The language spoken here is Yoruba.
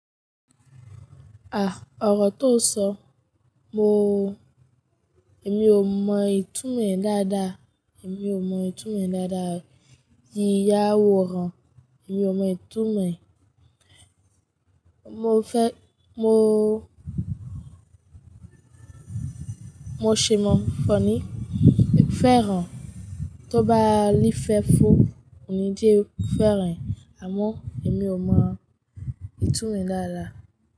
Ah! Ọ̀rọ̀ to sọ mo, èmi ò mọ ìtumọ̀ ẹ̀ dáadáa, èmi ò mọ ìtumọ̀ ẹ̀ dáadáa. Yíyà àworán, èmi ò mọ ìtumọ̀ ẹ̀. Mo fẹ́, mo, mo ṣè mọ̀ fọ́n ní. Eku fẹ́ ràn, tó bá rí fẹ́ fó, ònídí eku fẹ́ ràn. Àmọ́ èmi ò mọ ìtumọ̀ ẹ̀ dáadáa.